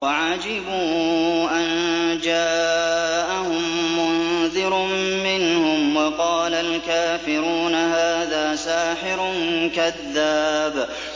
وَعَجِبُوا أَن جَاءَهُم مُّنذِرٌ مِّنْهُمْ ۖ وَقَالَ الْكَافِرُونَ هَٰذَا سَاحِرٌ كَذَّابٌ